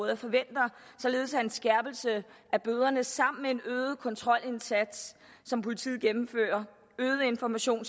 jeg forventer således at en skærpelse af bøderne sammen med en øget kontrolindsats som politiet gennemfører og øget information